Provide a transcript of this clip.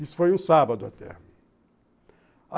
Isso foi um sábado, até.